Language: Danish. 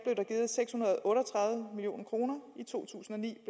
givet seks hundrede og otte og tredive million kroner i to tusind og ni